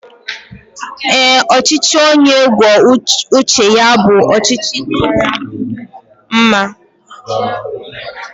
Ee, ọchịchị onye kwuo uche ya bụ ọchịchị kacha mma